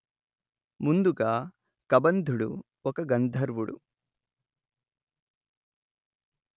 ముందుగా కబంధుడు ఒక గంధర్వుడు